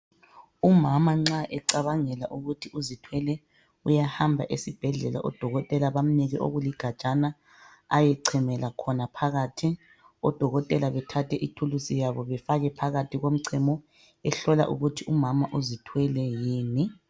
Umama nxa ecabangela ukuthi uzithwele, uyahamba esibhedlela odokotela bamnike okuligajana ayechemela phakathi, odokotela bethathe ithulusi yabo befake phakathi komchemo. behlola ukuthi umama uzithwele yini.